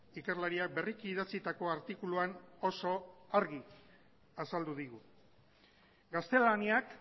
ikerlariak berriki idatzitako artikuluan oso argi azaldu digu gaztelaniak